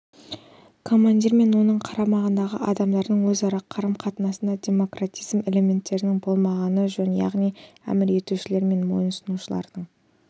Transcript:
командир мен оның қарамағындағы адамдардың өзара қарым-қатынасында демократизм элементтерінің болмағаны жөн яғни әмір етушілер мен мойынсұнушылардың